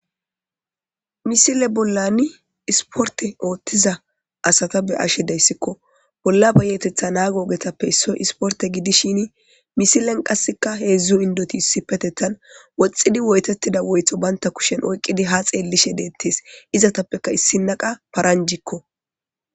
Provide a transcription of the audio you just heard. misile bollani isporte ooththiza asata be ashe deyssikko bolla bayetetha naagoogetappe issoy isporte gidishin misilen qasseka heedzdzu indoti issipetethan woxxidi woytettida woytho baynta kushen oyqqidi ha xeellishe deettes izatappeka issinaqa paranjikko